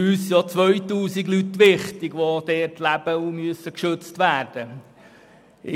Für uns sind auch 2000 Leute wichtig, die dort leben und geschützt werden müssen.